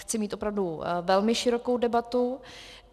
Chci mít opravdu velmi širokou debatu.